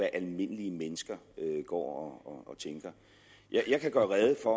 almindelige mennesker går og tænker jeg kan gøre rede for